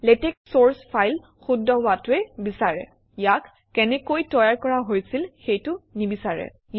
লেটেক্সে চৰ্চ ফাইল শুদ্ধ হোৱাটোহে বিচাৰে ইয়াক কেনেকৈ তৈয়াৰ কৰা হৈছিল সেইটো নিবিচাৰে